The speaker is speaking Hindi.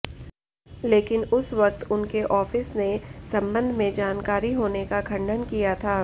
लेकिन उस वक्त उनके आॅफिस ने संबंध में जानकारी होने का खंडन किया था